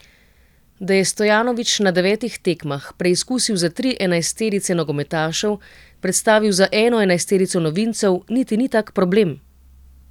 Da je Stojanovič na devetih tekmah preizkusil za tri enajsterice nogometašev, predstavil za eno enajsterico novincev, niti ni tak problem.